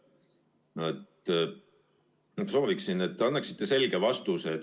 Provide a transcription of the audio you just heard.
Ma sooviksin, et te annaksite selge vastuse.